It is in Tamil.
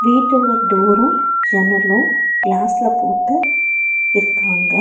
வீட்டோட டோரு ஜன்னலு கிளாஸ்ல போட்டு இருக்காங்க.